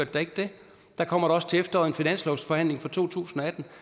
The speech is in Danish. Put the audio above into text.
da ikke det der kommer da også til efteråret en finanslovsforhandling for to tusind og atten